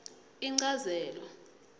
inchazelo